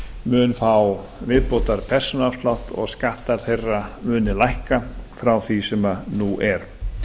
mun fá viðbótarpersónuafslátt og skattar þeirra muni lækka frá því sem nú er